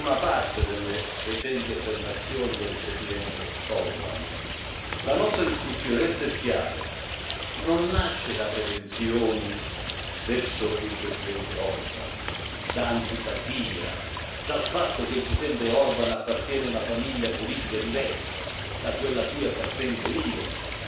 La nostra discussione, deve essere chiaro, non nasce da prevenzioni verso il presidente Orbán, da antipatia, dal fatto che il presidente Orbán appartiene a una famiglia politica diversa da quella a cui appartengo io, da un calcolo di parte o da una pretesa di dare lezioni.